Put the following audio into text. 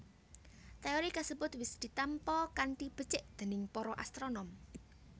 Téori kasebut wis ditampa kanthi becik déning para astronom